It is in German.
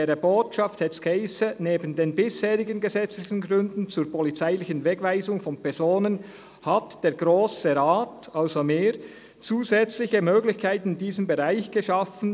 In dieser Botschaft stand: «Neben den bisherigen gesetzlichen Gründen zur polizeilichen Wegweisung von Personen hat der Grosse Rat», also wir, «zusätzliche Möglichkeiten in diesem Bereich geschaffen.